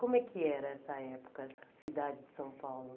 Como é que era essa época, cidade de São Paulo?